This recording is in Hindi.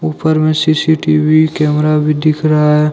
ऊपर में सी_सी_टी_वी कैमरा भी दिख रहा है।